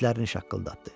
Dişlərini şaqqıldatdı.